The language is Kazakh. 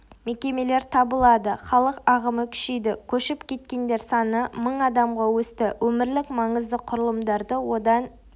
мекемелер табылады халық ағымы күшейді көшіп кеткендер саны мың адамға өсті өмірлік маңызды құрылымдарды одан